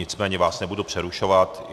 Nicméně vás nebudu přerušovat.